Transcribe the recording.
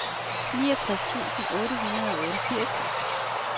niogtres tusind otte hundrede og otteogfirs